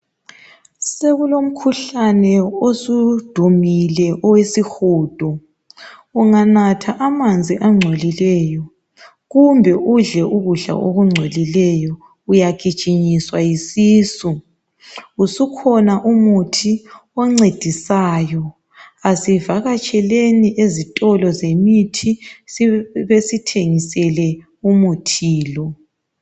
Sokulomkhuhlane osudumile owesihudo. Unganatha amanzi angcolileyo kumbe udle ukudla okungcolileyo uyagijinyiswa yisisu. Usukhona umuthi oncedisayo. Asivakatsheleni ezitolo zemithi besithengisele umuthi lo.